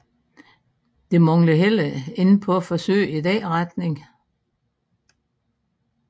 Det manglede heller ikke på forsøg i den retning